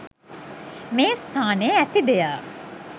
මේ ස්ථානයේ ඇති දෙය